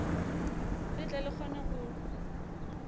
le tle le kgone go